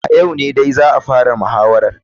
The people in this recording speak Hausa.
A yau ne dai za a fara muhawarar.